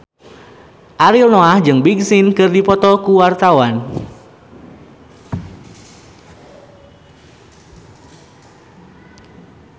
Ariel Noah jeung Big Sean keur dipoto ku wartawan